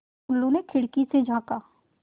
टुल्लु ने खिड़की से झाँका